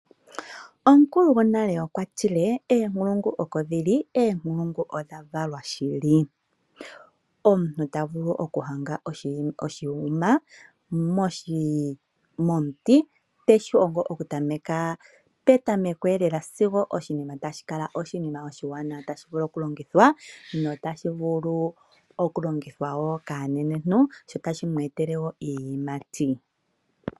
Omukulu gonale okwa tile oonkulungu oko dhi li, oonkulungu odha valwa shili. Omuntu ta vulu okuhonga oshihongomwa momuti teshi hongo okuza petameko eelela sigo oshinima tashi kala oshinima oshiwanawa tashi vulu okulongithwa wo nokaanenentu sho tashi vulu wo shi mu etele iiyemo.